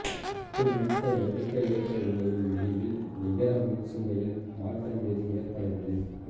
ஒட்டுமொத்த ஒடுக்க ஏற்ற வினையின் முடிவில் நிகர மின்சுமையில் மாற்றம் ஏதும் ஏற்படவில்லை